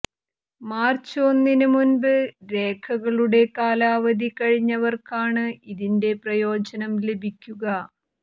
March ഒന്നിന് മുമ്പ് രേഖകളുടെ കാലാവധി കഴിഞ്ഞവര്ക്കാണ് ഇതിന്റെ പ്രയോജനം ലഭിക്കുക